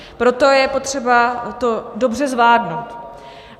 Proto je potřeba to dobře zvládnout.